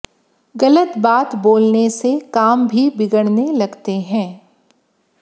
गलत बात बोलने से काम भी बिगड़ने लगते हैं